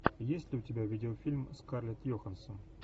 есть ли у тебя видеофильм с скарлетт йоханссон